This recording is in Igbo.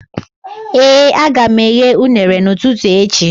Ee, aga m eghe unere n'ụtụtụ echi